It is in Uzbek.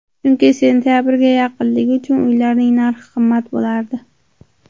Chunki sentabrga yaqinligi uchun uylarning narxi qimmat bo‘lardi.